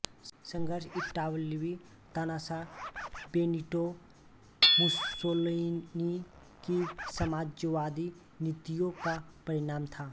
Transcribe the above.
संघर्ष इतालवी तानाशाह बेनिटो मुसोलिनी की साम्राज्यवादी नीतियों का परिणाम था